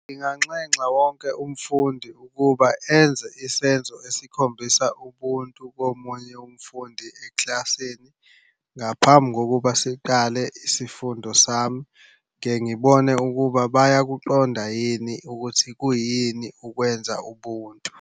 Nginganxexa wonke umfundi ukuba enze isenzo esikhombisa ubuntu komunye umfundi eklasini. Ngaphambi kokuba siqale isifundo sami, ngike ngibone ukuba bayakuqonda yini ukuthi kuyini ukwenza ubuntu.